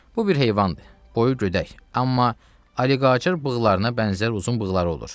Bu bir heyvandır, boyu gödək, amma oliqator bığlarına bənzər uzun bığları olur.